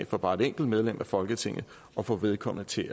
for bare et enkelt medlem af folketinget og få vedkommende til